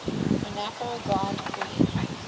monaco grand prix